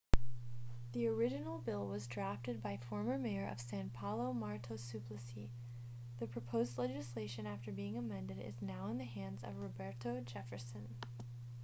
the original bill was drafted by former mayor of são paulo marta suplicy. the proposed legislation after being amended is now in the hands of roberto jefferson